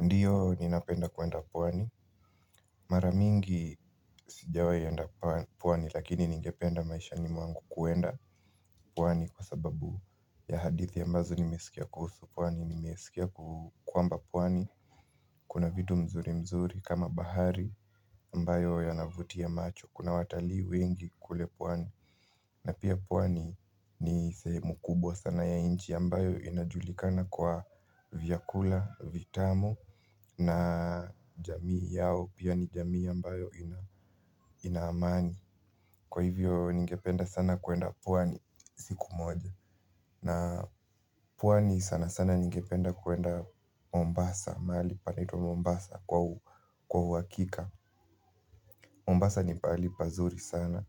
Ndiyo ninapenda kwenda pwani. Mara mingi sijawai enda pwani lakini ningependa maishani mwangu kwenda pwani kwa sababu ya hadithi ambazo nimeskia kuhusu pwani nimeskia kwamba pwani. Kuna vitu mzuri mzuri kama bahari mbayo yanavutia macho. Kuna watalii wengi kule pwani. Na pia pwani ni sehemu kubwa sana ya inchi ambayo inajulikana kwa vyakula vitamu na jamii yao pia ni jamii ambayo inaamani. Kwa hivyo ningependa sana kwenda pwani siku moja. Na pwani sana sana ningependa kwenda Mombasa, mahali panaitwa Mombasa kwa uhakika. Mombasa ni pahali pazuri sana,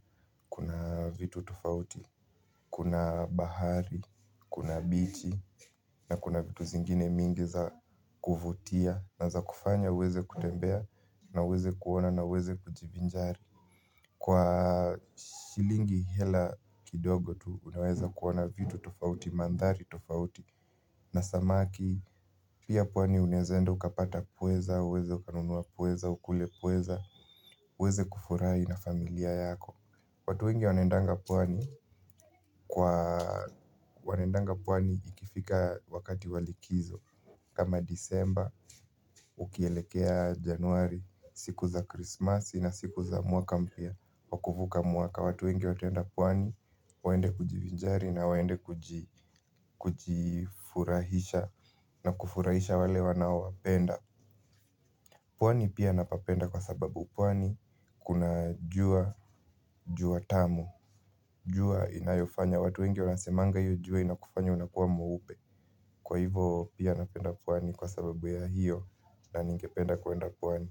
kuna vitu tufauti, kuna bahari, kuna bichi na kuna vitu zingine mingi za kuvutia na za kufanya uweze kutembea na uweze kuona na uweze kujivinjari. Kwa shilingi hela kidogo tu unaweza kuona vitu tofauti, mandhari tofauti na samaki pia pwani unaeza enda ukapata pweza, uweze ukanunua pweza, ukule pweza, uweze kufurai na familia yako. Watu wengi wanendanga pwani kwa wanaendanga pwani ikifika wakati wa likizo. Kama disemba, ukielekea januari, siku za krismasi na siku za mwaka mpya. Wakuvuka mwaka watu wengi wataenda pwani. Waende kujivinjari na waende kujifurahisha. Na kufurahisha wale wanaowapenda. Pwani pia napapenda kwa sababu pwani kuna jua, jua tamu. Jua inayofanya watu wengi wanasemanga hio jua inakufanya unakua mweupe. Kwa hivo pia napenda pwani kwa sababu ya hiyo. Na ningependa kwenda pwani.